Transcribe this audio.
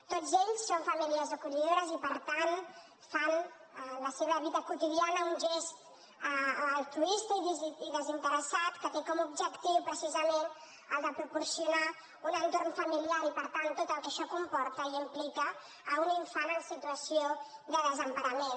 tots ells són famílies acollidores i per tant fan en la seva vida quotidiana un gest altruista i desinteressat que té com a objectiu precisament el de proporcionar un entorn familiar i per tant tot el que això comporta i implica a un infant en situació de desemparament